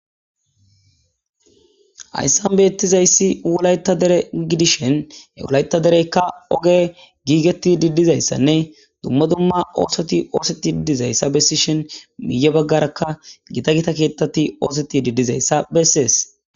Hayssan beettizayssi wolayta dere gidishen e wolayta dereykka oge giigeti didizayssanne dumma dumma oosoti oosetti diddizayssa bessishen miiye baggarakka gita gita keettati oosoti didizayssa bessees.